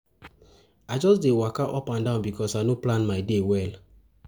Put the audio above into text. I just dey waka up and down because I no plan my day well. well.